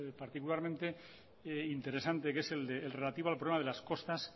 particularmente interesante que es el de el relativo al problema de las costas